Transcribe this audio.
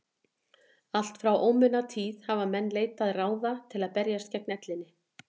allt frá ómunatíð hafa menn leitað ráða til að berjast gegn ellinni